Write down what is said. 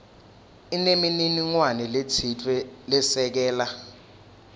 inemininingwane letsite lesekela